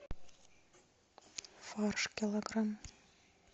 фарш килограмм